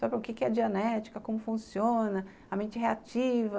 sabe o que é a dianética, como funciona, a mente reativa.